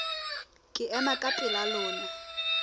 ke ema ka pela lona